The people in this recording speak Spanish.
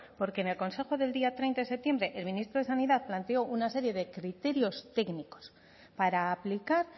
porque en el consejo del día treinta de septiembre el ministro de sanidad planteó una serie de criterios técnicos para aplicar